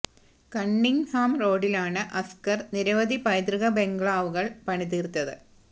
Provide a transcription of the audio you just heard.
cunning Ham റോഡിലാണ് അസ്കര് നിരവധി പൈതൃക ബംഗ്ലാവുകള് പണി തീര്ത്തത്